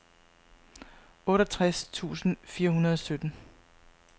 otteogtres tusind fire hundrede og sytten